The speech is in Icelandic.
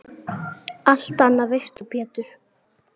Allt annað veist þú Pétur.